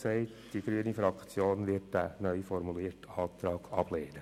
Die grüne Fraktion wird diesen neuformulierten Antrag ablehnen.